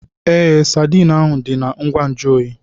Ee, Sadiin ahu dị na ngwa nju oyi.